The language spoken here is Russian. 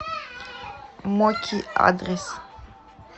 моки адрес